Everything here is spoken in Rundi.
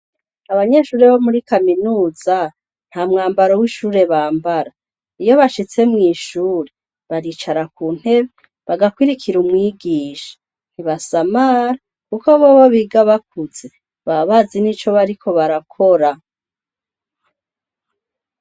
Abanyeshuri bo muri kaminuza nta mwambaro w'ishure bambara iyo bashitse mw'ishure baricara ku ntebe bagakurikira umwigisha ntibasamara, kuko bobo biga bakuze ba bazi ni co bariko barakora.